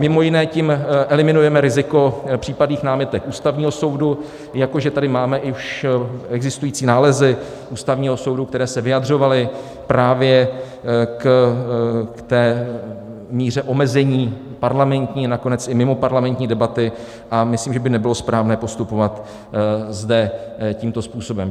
Mimo jiné tím eliminujeme riziko případných námitek Ústavního soudu, jako že tady máme už existující nálezy Ústavního soudu, které se vyjadřovaly právě k té míře omezení parlamentní, nakonec i mimoparlamentní debaty, a myslím, že by nebylo správné postupovat zde tímto způsobem.